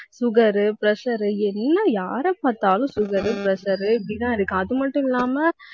sugar, pressure எல்லாம் யாரைப் பார்த்தாலும் sugar, pressure இப்படித்தான் இருக்கு. அது மட்டும் இல்லாம